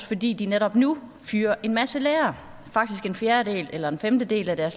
fordi de netop nu fyrer en masse lærere faktisk står en fjerdedel eller en femtedel af